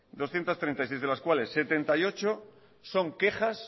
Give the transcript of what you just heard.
doscientos treinta y seis de las cuales setenta y ocho son quejas